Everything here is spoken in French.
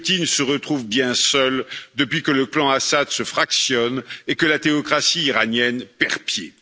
Poutine se retrouve bien seul depuis que le clan Assad se fractionne et que la théocratie iranienne perd pied.